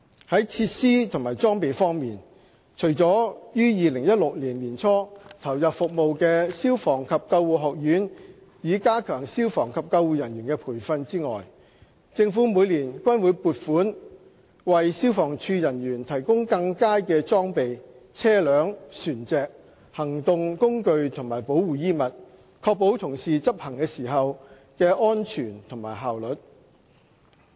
在設施和裝備方面，除了於2016年年初投入服務的消防及救護學院以加強消防及救護人員的培訓外，政府每年均會撥款為消防處人員提供更佳的裝備、車輛、船隻、行動工具和保護衣物，確保同事執勤時的安全及效率。